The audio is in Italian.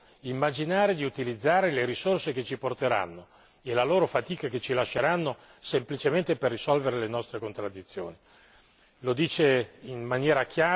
Pertanto noi che siamo i più ricchi non dobbiamo immaginare di utilizzare le risorse che ci porteranno e le loro fatiche che ci lasceranno semplicemente per risolvere le nostre contraddizioni.